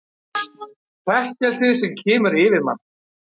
Hrekkleysið sem kemur yfir mann.